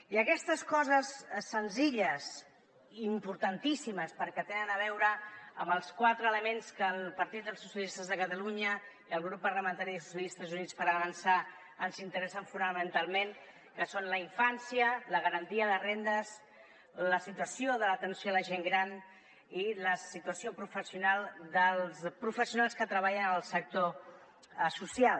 i aquestes coses senzilles i importantíssimes perquè tenen a veure amb els quatre elements que el partit dels socialistes de catalunya i el grup parlamentari de socialistes i units per avançar ens interessen fonamentalment que són la infància la garantia de rendes la situació de l’atenció a la gent gran i la situació professional dels professionals que treballen al sector social